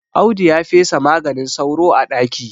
Audu ya fesa maganin sauro a ɗaki